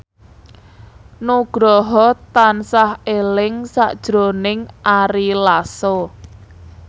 Nugroho tansah eling sakjroning Ari Lasso